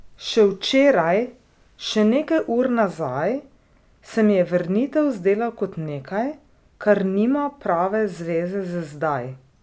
Še včeraj, še nekaj ur nazaj se mi je vrnitev zdela kot nekaj, kar nima prave zveze z zdaj.